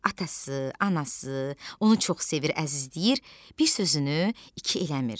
Atası, anası onu çox sevir, əzizləyir, bir sözünü iki eləmir.